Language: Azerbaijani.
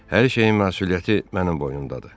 Hər şeyin məsuliyyəti mənim boynumdadır.